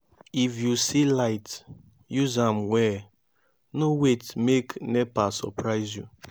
if you see light use am well no wait make nepa surprise you